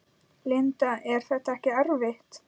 Linda: Er þetta ekkert erfitt?